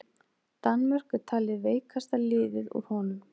Danmörk er talið veikasta liðið úr honum.